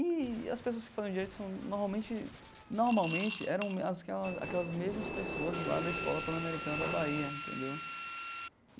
E as pessoas que fazem direito são, normalmente, normalmente eram aquela aquelas mesmas pessoas lá da escola pan-americana da Bahia, entendeu?